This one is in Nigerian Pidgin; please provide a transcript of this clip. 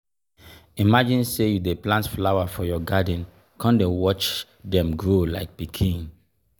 imagine sey you dey plant flower for your garden come dey watch dem grow like pikin!